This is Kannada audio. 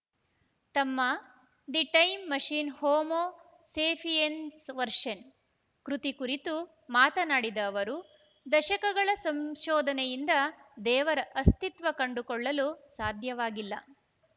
ತಮ್ಮ the time machine homo sapiens version ಕೃತಿ ಕುರಿತು ಮಾತನಾಡಿದ ಅವರು ದಶಕಗಳ ಸಂಶೋಧನೆಯಿಂದ ದೇವರ ಅಸ್ತಿತ್ವ ಕಂಡುಕೊಳ್ಳಲು ಸಾಧ್ಯವಾಗಿಲ್ಲ